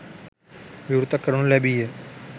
විවෘත කරනු ලැබීය.